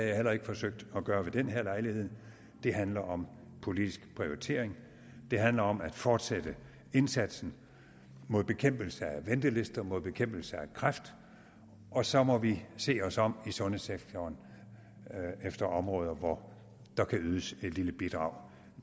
jeg heller ikke forsøgt at gøre ved denne lejlighed det handler om politisk prioritering det handler om at fortsætte indsatsen med bekæmpelse af ventelister og med bekæmpelse af kræft og så må vi se os om i sundhedssektoren efter områder hvor der kan ydes et lille bidrag